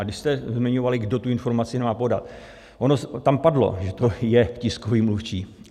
A když jste zmiňovali, kdo tu informaci má podat, ono tam padlo, že to je tiskový mluvčí.